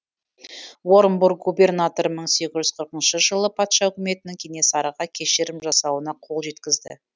орынбор губернаторы мың сегіз жүз қырықыншы жылы патша үкіметінің кенесарыға кешірім жасауына қол жеткізді